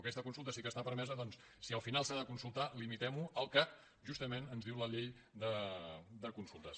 aquesta consulta sí que està permesa doncs si al final s’ha de consultar limitem ho al que justament ens diu la llei de consultes